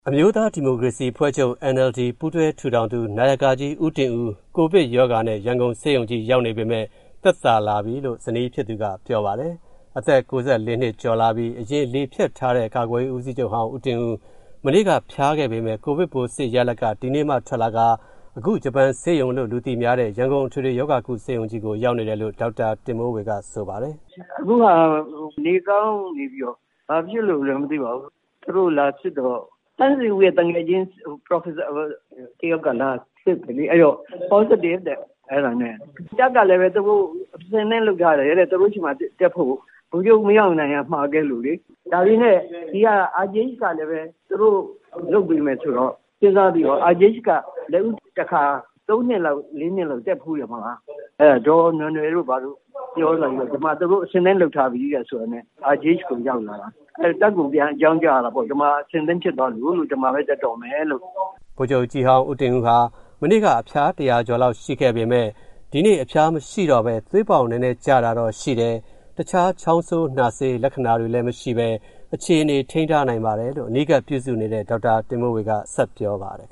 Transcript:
အမျိုးသားဒီမိုကရေစီအဖွဲ့ချုပ်ပါတီ NLD ပူးတွဲထူထောင်သူ နာယကကြီး ဦးတင်ဦး ကိုဗစ်နဲ့ ရန်ကုန်ဆေးရုံကြီးရောက်နေပေမယ့် သက်သာလာပြီလို့ ဇနီးဖြစ်သူကပြောပါတယ်။ အသက် ၉၄ နှစ်အရွယ် လေဖြတ်ထားတဲ့ ကာကွယ်ရေးဦးစီးချုပ်ဟောင်း ဦးတင်ဦး မနေ့က အဖျားရှိခဲ့ပေမယ့် ကိုဗစ်ပိုးစစ်ရလဒ်က ဒီနေ့မှ ထွက်လာတာပါ။ အခု ဂျပန်ဆေးရုံလို့ လူသိများတဲ့ ရန်ကုန်အထွေထွေရောဂါကုဆေးရုံကြီးကို ရောက်နေတယ်လို့ ဇနီးဖြစ်သူ ဒေါက်တာ ဒေါ်တင်မိုးဝေက ဆိုပါတယ်။ “အခုဟာကတော့ နေကောင်းနေပြီးတော့ ဘာဖြစ်လို့လဲမသိပါဘူး။ သူတို့လာစစ်တော့ သန့်ဇင်ဦး ရဲ့သူငယ်ချင်း ပရော်ဖက်ဆာတယောက်က လာစစ်တယ်လေ။ အဲဒီတော့ positive တဲ့။ အဲဒါနဲ့ တပ်ကလည်းပဲ အဆင့်သင့်လုပ်ထားတယ်တဲ့၊ သူတို့ဆီမှာတက်ဖို့ကို။ ဗိုလ်ချုပ် မင်းအောင်လှိုင်ကမှာခဲ့လို့လေ။ ဒါပေမယ့် ဒီက RGH ကလည်းပဲ သူတို့လုပ်ပေးမယ်ဆိုတော့ စဉ်းစားပြီးတော့ RGH က လက်ဦးတခါ၊ သုံးနှစ်လောက်၊ လေးနှစ်လောက်က တက်ဖူးတယ်မို့လား။ အဲဒါ ဒေါ်နွယ်နွယ်တို့၊ ဘာတို့ ပြောလို့ သူတို့အဆင်သင့်လုပ်ထားပြီဆိုတာနဲ့ RGH ကိုရောက်လာတာ။ တပ်ကို ပြန်အကြောင်းကြားရတာပေါ့-ဒီမှာ အဆင်သင့်ဖြစ်သွားလို့..လို့၊ ဒီမှာပဲ တက်တော့မယ်...လို့။” ဗိုလ်ချုပ်ကြီးဟောင်း ဦးတင်ဦးဟာ မနေ့က အဖျား ၁၀၀ ကျော်လောက်တော့ရှိခဲ့ပေမဲ့ ဒီနေ့အဖျားမရှိတော့ဘဲ သွေးပေါင်နဲနဲကျတာတော့ရှိတယ်၊ တခြား ချောင်းဆိုး နှာစေး လက္ခဏာတွေလည်းမရှိဘဲ အခြေအနေထိန်းထားနိုင်ပါတယ်လို့ အနီးကပ်ပြုစုနေတဲ့ ဒေါက်တာတင်မိုးဝေက ဆက်ပြောပါတယ်